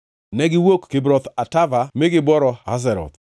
Negiwuok Kibroth Hatava mi gibworo Hazeroth.